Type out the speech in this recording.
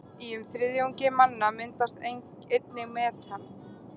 Í um þriðjungi manna myndast einnig metan.